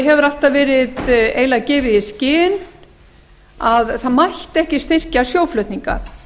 hefur alltaf verið eiginlega gefið í skyn að það mætti ekki styrkja sjóflutninga